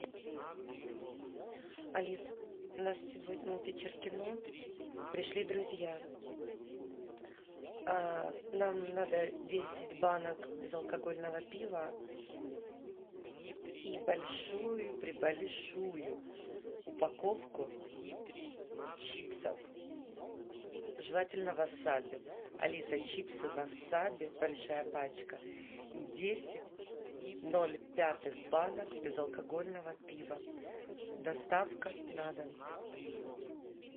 алис у нас сегодня вечер кино пришли друзья нам надо десять банок безалкогольного пива и большую пребольшую упаковку чипсов желательно васаби алиса чипсы васаби большая пачка и десять ноль пятых банок безалкогольного пива доставка на дом